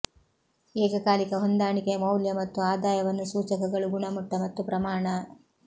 ಏಕಕಾಲಿಕ ಹೊಂದಾಣಿಕೆ ಮೌಲ್ಯ ಮತ್ತು ಆದಾಯವನ್ನು ಸೂಚಕಗಳು ಗುಣಮಟ್ಟ ಮತ್ತು ಪ್ರಮಾಣ